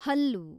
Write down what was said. ಹಲ್ಲು